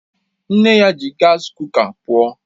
Nne ya ji gas kuka pụọ